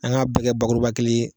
An ka bɛ kɛ bakuruba kelen ye.